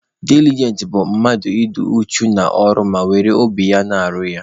Dilijent bụ mmadụ ị dị uchu n'ọrụ ma were obi ya na-arụ ya.